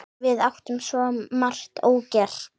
Við áttum svo margt ógert.